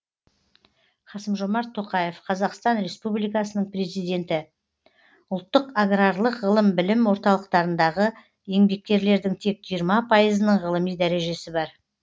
қасым жомарт тоқаев қазақстан республикасының президенті ұлттық аграрлық ғылым білім орталықтарындағы еңбеккерлердің тек жиырма пайызының ғылыми дәрежесі бар